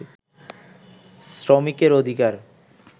শ্রমিকের অধিকার